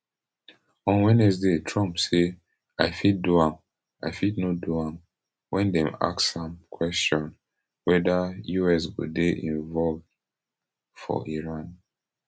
on wednesday trump say i fit do am i fit no do am wen dem ask am kwesion weda us go dey involve for iran